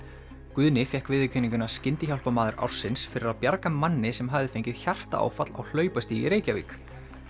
Guðni fékk viðurkenninguna Skyndihjálparmaður ársins fyrir að bjarga manni sem hafði fengið hjartaáfall á í Reykjavík